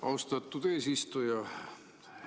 Austatud eesistuja!